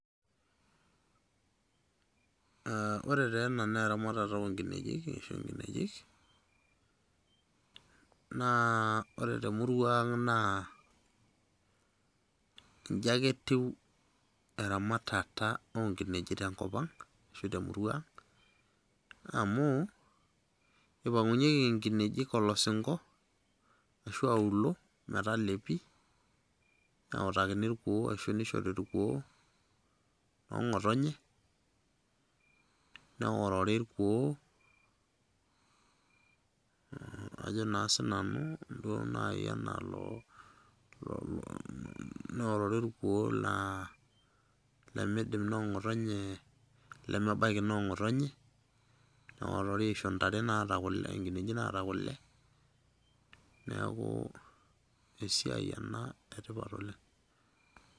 Ah ore taa ena naa eramatare onkinejik, ashu nkinejik, naa ore temurua ang' naa iji ake etiu eramatata onkinejik tenkop ang',ashu temurua ang',amu ipang'unyeki inkinejik olosingo, ashu auluo, metalepi. Neutakini irkuon, ashu nishori irkuo noong'otonye, neorori irkuo, ajo na sinanu duo nai enalo, neorori irkuo laa limidim noong'otonye lemebaiki noong'otonye, neorori aisho ntare naata kule, nkinejik naata kule, neeku esiai ena etipat oleng'.